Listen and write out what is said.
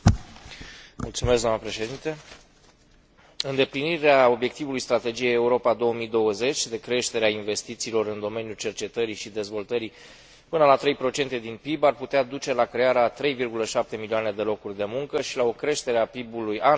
Îndeplinirea obiectivului strategiei Europa 2020 de creștere a investițiilor în domeniul cercetării și dezvoltării până la 3 din PIB ar putea duce la crearea a 3,7 milioane de locuri de muncă și la o creștere a PIB ului anual de până la 795 miliarde de euro până în